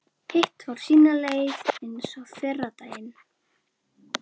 Hitt fór sína leið eins og fyrri daginn.